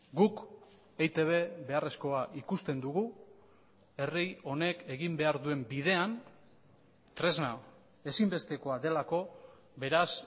guk eitb beharrezkoa ikusten dugu herri honek egin behar duen bidean tresna ezinbestekoa delako beraz